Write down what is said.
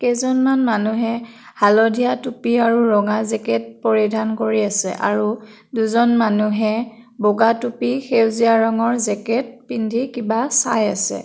কেইজনমান মানুহে হালধীয়া টুপী আৰু ৰঙা জেকেত পৰিধান কৰি আছে আৰু দুজন মানুহে বগা টুপী সেউজীয়া ৰঙৰ জেকেত পিন্ধি কিবা চাই আছে।